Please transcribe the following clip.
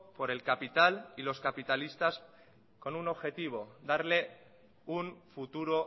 por el capital y los capitalistas con un objetivo darle un futuro